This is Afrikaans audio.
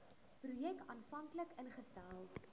projek aanvanklik ingestel